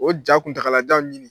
O ja kuntagalajan ɲini